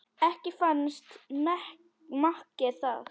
Ekki fannst makker það